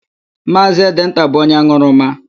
Maazị Edenta bụ onye an̄ụrụma.